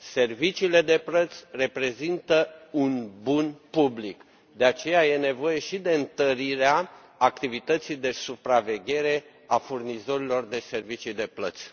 Serviciile de plăți reprezintă un bun public, de aceea este nevoie și de întărirea activității de supraveghere a furnizorilor de servicii de plăți.